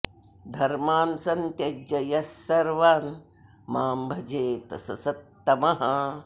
धर्मान् सन्त्यज्य यः सर्वान् मां भजेत सः सत्तमः